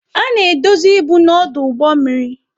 A na-edozi ibu na ọdụ ụgbọ mmiri.